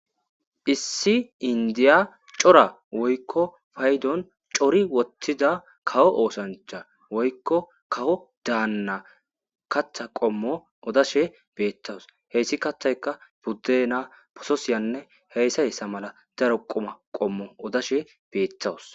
issi indiya cora woykko faydon cori wottida kawo oosancha woykko kawo daanna katha qommo odashe beettawus heyssi kattayka budde naa pososiyanne heyssa yessa mala daro qoma qommo odashe beettawus